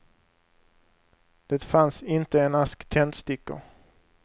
Det fanns inte en ask tändstickor.